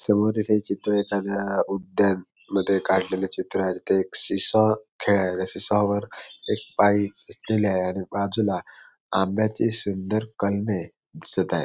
समोरिले चित्र एखाद्या उधान मध्ये कडलेले चित्र आहे तिथे एक सी स्वा खेळायला सी स्वा वर एक बाई बसलेली आहे आणि बाजूला आंब्याची सुंदर कलमे दिसत आहेत.